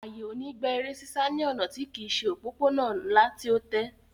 Àyè ò ní gba eré sísá ní ọ̀nà tí kìí se òpópó-ònà ńlá tí ó tẹ́